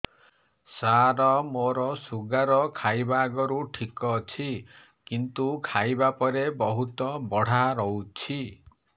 ସାର ମୋର ଶୁଗାର ଖାଇବା ଆଗରୁ ଠିକ ଅଛି କିନ୍ତୁ ଖାଇବା ପରେ ବହୁତ ବଢ଼ା ରହୁଛି